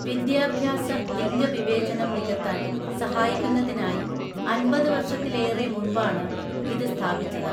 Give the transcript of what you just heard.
വിദ്യാഭ്യാസ ലിംഗ വിവേചനം നികത്താൻ സഹായിക്കുന്നതിനായി അന്‍പത് വർഷത്തിലേറെ മുമ്പാണ് ഇത് സ്ഥാപിച്ചത്